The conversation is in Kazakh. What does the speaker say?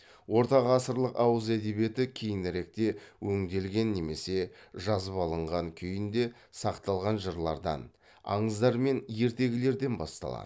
орта ғасырлық ауыз әдебиеті кейініректе өңделген немесе жазып алынған күйінде сақталған жырлардан аңыздар мен ертегілерден басталады